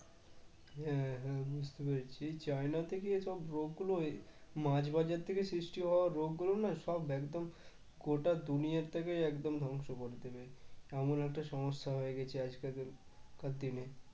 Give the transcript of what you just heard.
হ্যাঁ হ্যাঁ বুঝতে পেরেছি চায়না থেকে এসব রোগ গুলো মাঝ বাজার থেকে সৃষ্টি হওয়া রোগগুলো না সব একদম গোটা দুনিয়াটাকে একদম ধ্বংস করে দেবে এমন একটা সমস্যা হয়ে গেছে আজকালকার দিনে